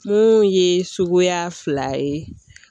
Mun ye suguya fila ye